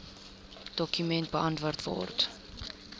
dokument beantwoord